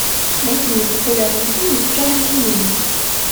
найди мне популярные фильмы в жанре семейный